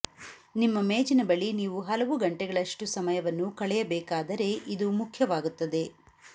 ನಿಮ್ಮ ಮೇಜಿನ ಬಳಿ ನೀವು ಹಲವು ಗಂಟೆಗಳಷ್ಟು ಸಮಯವನ್ನು ಕಳೆಯಬೇಕಾದರೆ ಇದು ಮುಖ್ಯವಾಗುತ್ತದೆ